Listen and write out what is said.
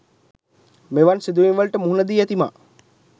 මෙවන් සිදුවීම් වලට මුහුණ දී ඇති මා